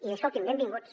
i escolti’m benvinguts